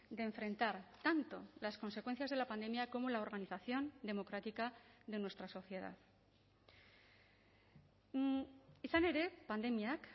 de enfrentar tanto las consecuencias de la pandemia como la organización democrática de nuestra sociedad izan ere pandemiak